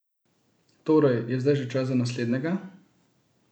Torej je zdaj že čas za naslednjega?